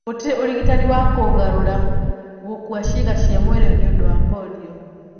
Gũtirĩ ũrigitani wa kũgarũra gũkua ciĩga cia mwĩrĩ nĩũndũ wa polio.